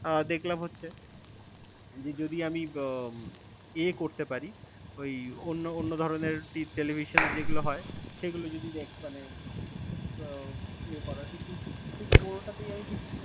আহ দেখলাম হচ্ছে যে যদি আমি উম এ করতে পারি ওই অন্য অন্য ধরনের television যেগুলো হয়, সেগুলো যদি next মানে উহ ইয়ে করার কিন্তু ঠিক কোনোটাতেই আমি ঠিক